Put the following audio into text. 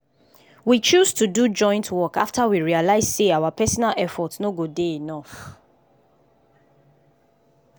we choose to do joint work after we realize say our personal effort no go dey enough.